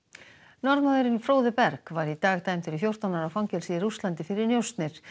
Norðmaðurinn Berg var í dag dæmdur í fjórtán ára fangelsi í Rússlandi fyrir njósnir